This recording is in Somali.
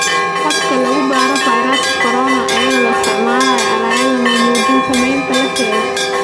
Habka lagu baaro fayraska corona iyadoo la isticmaalayo aaladda ma muujin saameynta la sheegay.